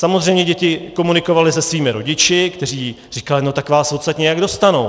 Samozřejmě děti komunikovaly se svými rodiči, kteří říkali: no tak vás odsud nějak dostanou...